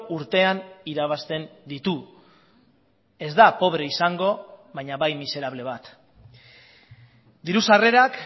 urtean irabazten ditu ez da pobre izango baina bai miserable bat diru sarrerak